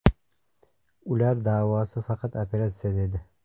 Ular davosi faqat operatsiya dedi.